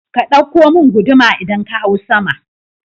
Ka ɗauko mun guduma idan ka hau sama